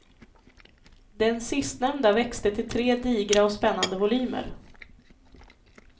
Den sistnämnda växte till tre digra och spännande volymer.